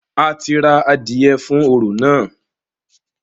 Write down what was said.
A ti ra adìẹ fún orò náà.